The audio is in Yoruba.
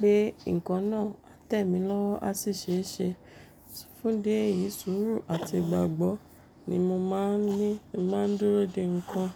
pé nǹkan náà á tẹ̀ mí lọ́wọ́ á sì ṣe é ṣe. Fún díẹ̀ yìí, sùúrù àti ìgbàgbọ́ ni mo máa ń ní tí n bá ń dúró de nǹkan.